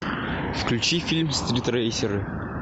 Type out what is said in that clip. включи фильм стритрейсеры